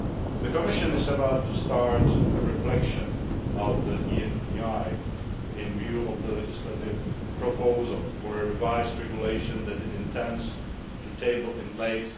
The Commission is about to start a reflection on the ENPI with a view to the legislative proposal for a revised regulation that it intends to table in late